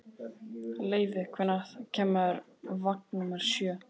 Leivi, hvenær kemur vagn númer sjö?